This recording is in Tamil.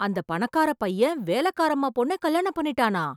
அந்த பணக்கார பையன் வேலைக்காரம்மா பொண்ண கல்யாணம் பண்ணிட்டானா?